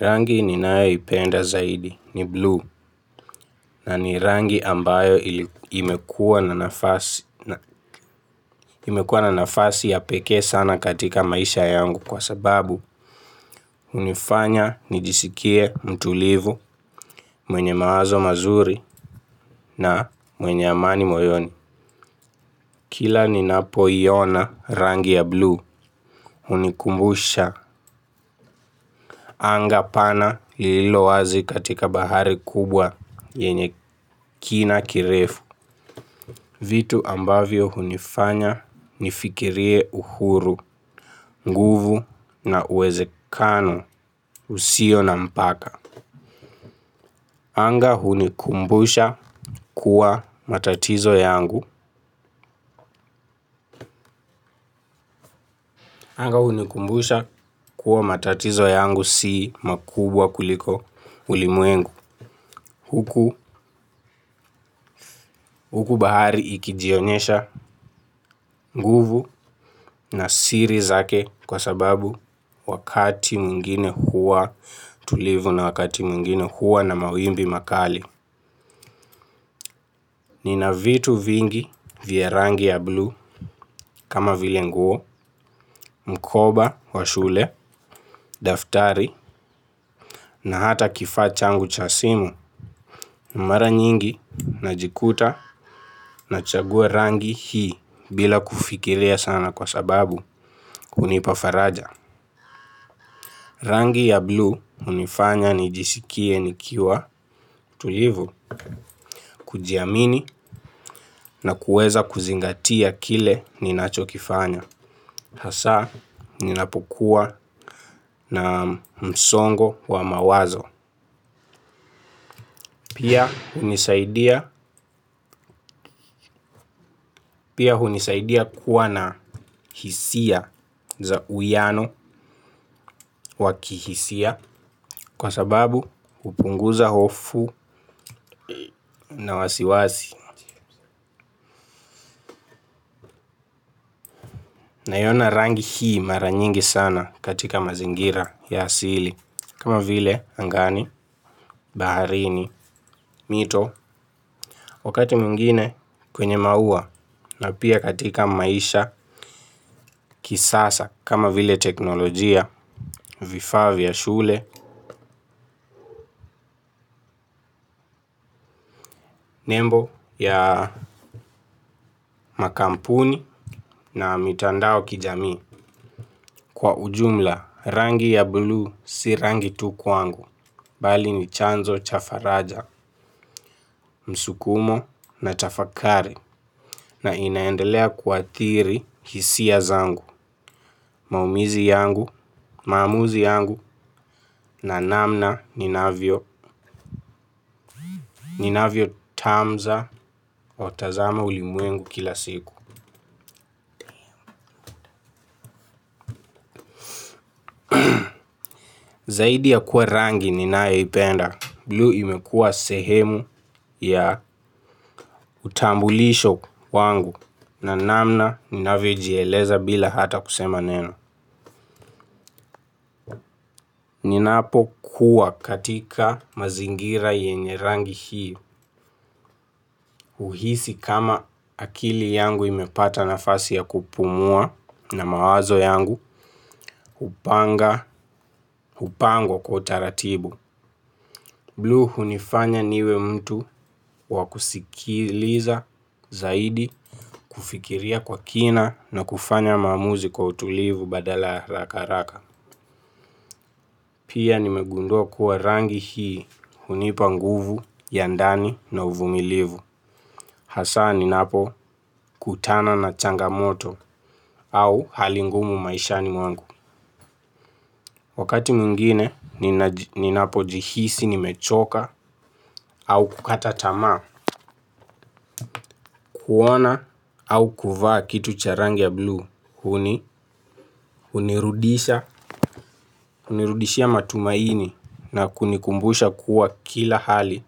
Rangi ninayoipenda zaidi ni buluu na ni rangi ambayo imekuwa imekuwa na nafasi ya pekee sana katika maisha yangu kwa sababu hunifanya nijisikie mtulivu mwenye mawazo mazuri na mwenye amani moyoni. Kila ninapoiona rangi ya buluu hunikumbusha anga pana lilo wazi katika bahari kubwa yenye kina kirefu. Vitu ambavyo hunifanya nifikirie uhuru, nguvu na uwezekano usio na mpaka. Anga hunikumbusha kuwa matatizo yangu. Anga hunikumbusha kuwa matatizo yangu si makubwa kuliko ulimwengu. Huku bahari ikijionyesha nguvu na siri zake kwa sababu wakati mwingine huwa tulivu na wakati mwingine huwa na mawimbi makali. Nina vitu vingi vya rangi ya buluu kama vile nguo, mkoba wa shule, daftari, na hata kifaa changu cha simu. Mara nyingi najikuta nachagua rangi hii bila kufikiria sana kwa sababu hunipa faraja. Rangi ya blue hunifanya nijisikie nikiwa tulivu, kujiamini na kuweza kuzingatia kile ninachokifanya. Hasa ninapokuwa na msongo wa mawazo pia hunisaidia kuwa na hisia za uwiano wa kihisia kwa sababu hupunguza hofu na wasiwasi naiona rangi hii mara nyingi sana katika mazingira ya asili kama vile angani, baharini, mito wakati mwingine kwenye maua na pia katika maisha kisasa kama vile teknolojia, vifaa vya shule, nembo ya makampuni na mitandao kijamii. Kwa ujumla rangi ya blue si rangi tu kwangu, bali ni chanzo cha faraja, msukumo na tafakari na inaendelea kuathiri hisia zangu, maumizi yangu, maamuzi yangu na namna ninavyo ninavyotazama ulimwengu kila siku zaidi ya kuwa rangi ninayoipenda, blue imekuwa sehemu ya utambulisho wangu na namna ninavyojieleza bila hata kusema neno. Ninapokuwa katika mazingira yenye rangi hii, huhisi kama akili yangu imepata nafasi ya kupumua na mawazo yangu, hupanga, upango kwa utaratibu. Blue hunifanya niwe mtu wa kusikiliza zaidi kufikiria kwa kina na kufanya maamuzi kwa utulivu badala harakaharaka. Pia nimegundua kuwa rangi hii hunipa nguvu ya ndani na uvumilivu. Hasa ninapokutana na changamoto au hali ngumu maishani mwangu. Wakati mwingine ninapojihisi nimechoka au kukata tamaa huona au kuvaa kitu cha rangi ya blue hunirudishia matumaini na kunikumbusha kuwa kila hali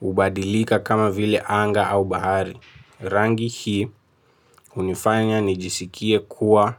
hubadilika kama vile anga au bahari rangi hii hunifanya nijisikie kuwa.